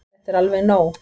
Þetta er alveg nóg!